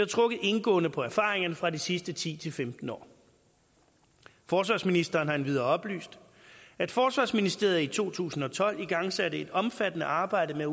trukket indgående på erfaringerne fra de sidste ti til femten år forsvarsministeren har endvidere oplyst at forsvarsministeriet i to tusind og tolv igangsatte et omfattende arbejde med